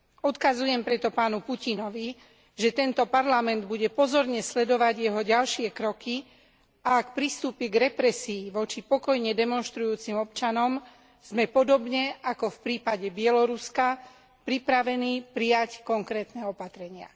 Odkazujem preto pánovi Putinovi, že tento Parlament bude pozorne sledovať jeho ďalšie kroky a ak pristúpi k represii voči pokojne demonštrujúcim občanom, sme podobne ako v prípade Bieloruska pripravení prijať konkrétne opatrenia.